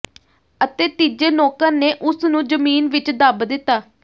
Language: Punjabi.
ਅਤੇ ਤੀਜੇ ਨੌਕਰ ਨੇ ਉਸ ਨੂੰ ਜ਼ਮੀਨ ਵਿੱਚ ਦੱਬ ਦਿੱਤਾ